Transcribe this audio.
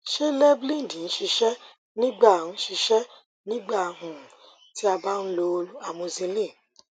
ṣe levlened n ṣiṣẹ nigba n ṣiṣẹ nigba um ti a ba n lo amoxicillin